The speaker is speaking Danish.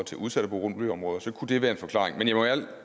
til udsatte boligområder kunne det være en forklaring men jeg må ærligt